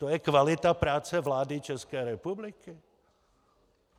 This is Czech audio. To je kvalita práce vlády České republiky?